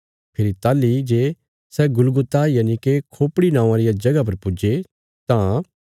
फेरी ताहली जे सै गुलगुता यनिके खोपड़ी नौआं रिया जगह पर पुज्जे तां